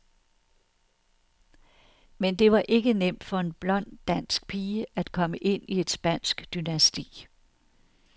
Men det var ikke nemt for en blond dansk pige, at komme ind i et spansk dynasti.